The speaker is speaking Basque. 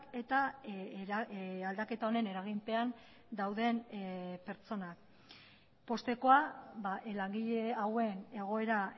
eta aldaketa honen eraginpean dauden pertsonak poztekoa langile hauen egoera